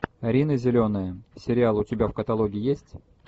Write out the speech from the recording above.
рина зеленая сериал у тебя в каталоге есть